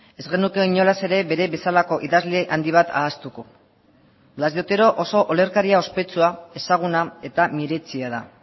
ez genuke inolaz ere bera bezalako idazle handi bat ahaztuko blas de otero oso olerkari ospetsua ezaguna eta miretsia da